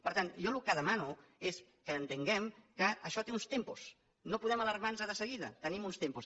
per tant jo el que demano és que entenguem que això té uns tempos no podem alarmar nos de seguida tenim uns tempos